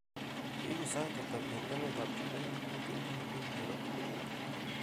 Yegu sait ata eng emetab chumbek ko kemboi eng nairobi